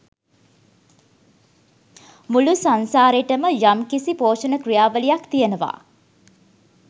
මුළු සංසාරෙටම යම්කිසි පෝෂණ ක්‍රියාවලියක් තියෙනවා.